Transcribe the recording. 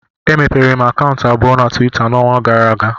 Emepere m akaụntụ abụọ na Tuweeta n'ọnwa gara aga